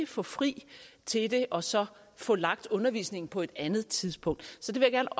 få fri til det og så få lagt undervisningen på et andet tidspunkt så jeg